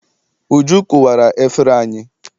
Uju kụwara efere anyị.